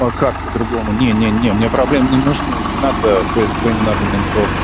а как по-другому не-не-не мне проблемы не нужны не надо фсб не надо ментов